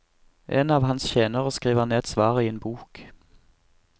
En av hans tjenere skriver ned svaret i en bok.